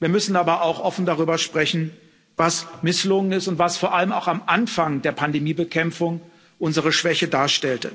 wir müssen aber auch offen darüber sprechen, was misslungen ist und was vor allem auch am Anfang der Pandemiebekämpfung unsere Schwäche darstellte.